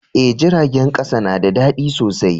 Eh, jiragen kasa na da dadi sosai.